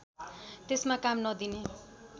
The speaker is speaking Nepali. त्यसमा काम नदिने